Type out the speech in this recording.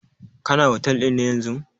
Kana otel ɗin yanzun?